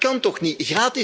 Dat kan toch niet!